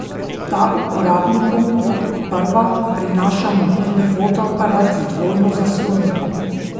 Ta uporabnikom kot prva prinaša mobilni fotoaparat z dvojno zaslonko.